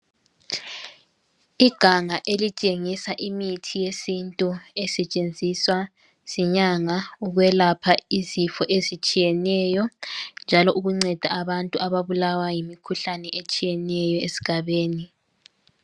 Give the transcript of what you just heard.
Iganga elitshengisa imithi yesintu esetshenziswa zinyanga ukwelapha izifo ezitshiyeneyo njalo ukunceda abantu ababulawa yimikhuhlane etshiyeneyo esigabeni.